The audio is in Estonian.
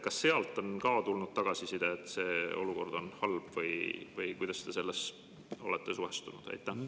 Kas sealt on ka tulnud tagasiside, et olukord on halb, või kuidas te üldse sellesse olete suhtunud?